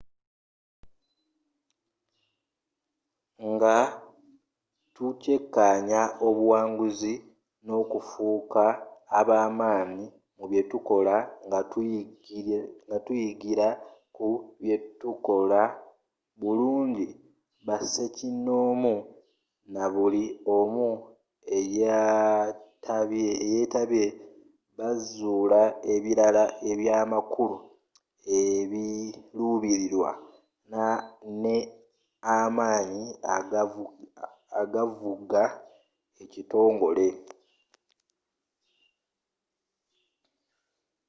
nga tukyekanya obuwanguzi nne okufuka abamanyi mu byetukola nga tuyigila ku byetuttakola bulungi basekinomu nabuli' omu eyetabye bazula ebilala ebyamakulu ebilubililwa nne amanyi agavuga ekitongole